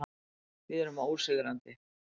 Við erum ósigrandi.